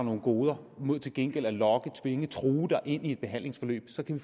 nogle goder mod til gengæld at lokke dem dem true dem ind i et behandlingsforløb så kan